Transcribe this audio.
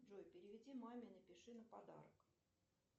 джой переведи маме напиши на подарок